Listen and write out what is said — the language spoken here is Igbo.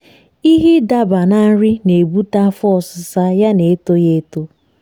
ịhe idaba na nri na ebute afọ ọsisa ya na etoghi eto